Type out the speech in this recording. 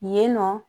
Yen nɔ